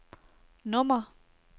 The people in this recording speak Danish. nummer